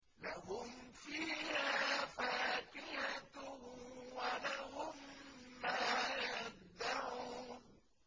لَهُمْ فِيهَا فَاكِهَةٌ وَلَهُم مَّا يَدَّعُونَ